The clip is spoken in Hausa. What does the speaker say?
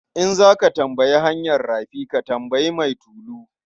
In za ka tambayi hanyar rafi, ka tambayi mai tulu.